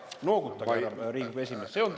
Noogutage, härra Riigikogu esimees!